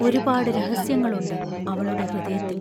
ഒരുപാടു രഹസ്യങ്ങളുണ്ട്, അവളുടെ ഹൃദയത്തിൽ.